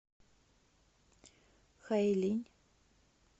хайлинь